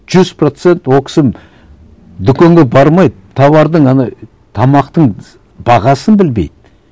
жүз процент ол кісі дүкенге бармайды тауардың ана тамақтың бағасын білмейді